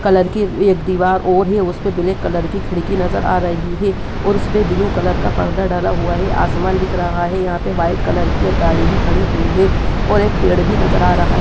Colour कि एक एक दीवार और है उसपे ब्लैक कलर की खिड़की नजर आ रही है और उसमें ब्लू कलर का पर्दा डला हुआ है आसमान दिख रहा है यहाँ पर वाइट कलर कि एक गाड़ी भी खड़ी है और एक पेड़ भी नजर आ रहा है।